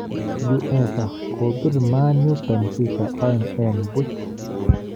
UEFA: Kobiir Man U Benfica oeng' en buuch.